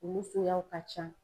Olu suguyaw ka can.